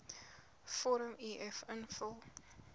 vorm uf invul